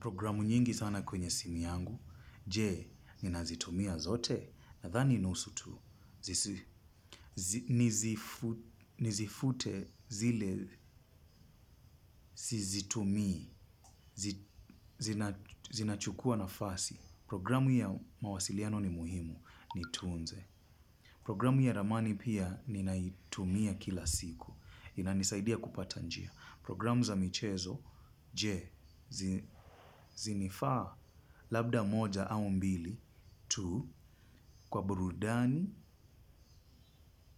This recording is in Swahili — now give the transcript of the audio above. Programu nyingi sana kwenye simu yangu, je, ninazitumia zote, nadhani nusu tu. Nizifute zile, sizitumii, zinachukua nafasi. Programu ya mawasiliano ni muhimu, nitunze. Programu ya ramani pia, ninaitumia kila siku. Inanisaidia kupata njia. Programu za michezo, je, zinifaa labda moja au mbili tu, kwa burudani,